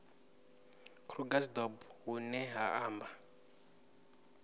krugersdorp hu ne ha amba